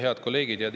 Head kolleegid!